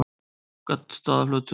Gaddstaðaflötum